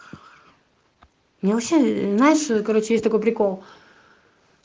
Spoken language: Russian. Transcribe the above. ну вообще знаешь короче есть такой прикол